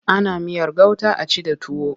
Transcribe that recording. Ana miyar gauta a ci da tuwo.